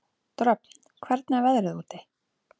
Dröfn, hvernig er veðrið úti?